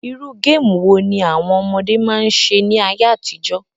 Irú game wo ni àwon ọmọdé ma n se ní ayé àtijọ́?